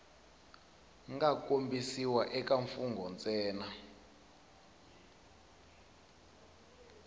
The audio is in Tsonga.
nga kombisiwa eka mfugnho ntsena